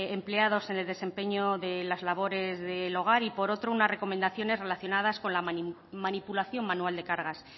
empleados en el desempeño de las labores del hogar y por otro unas recomendaciones relacionadas con la manipulación manual de cargas